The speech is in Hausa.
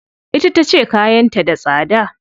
Ita tace kayan ta da tsada.